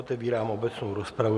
Otevírám obecnou rozpravu.